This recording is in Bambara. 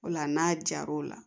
O la n'a jar'o la